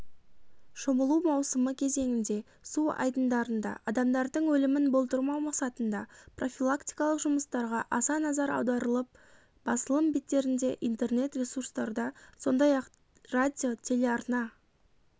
шомылу маусымы кезеңінде су айдындарында адамдардың өлімін болдырмау мақсатында профилактикалық жұмыстарға аса назар аударылып басылым беттерінде интернет-ресурстарда сондай-ақ радио телеарна